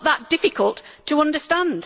It is not that difficult to understand.